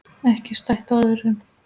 Ekki stætt á öðru.